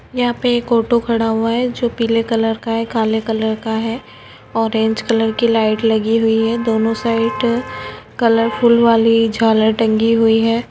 यहाँ पे एक ऑटो खड़ा हुआ हैं जो पीले कलर का है काले कलर का है ऑरेंज कलर की लाइट लगी हुई है दोनों साइड कलरफुल वाली झालर टंगी हुई है।